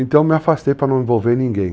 Então eu me afastei para não envolver ninguém.